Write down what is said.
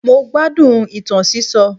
Mo gbádùn ìtàn sísọ.